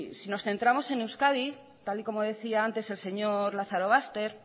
si nos centramos en euskadi tal y como decía antes el señor lazarobaster